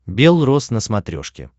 белрос на смотрешке